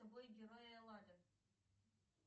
герои эллады